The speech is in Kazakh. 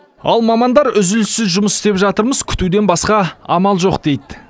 ал мамандар үзіліссіз жұмыс істеп жатырмыз күтуден басқа амал жоқ дейді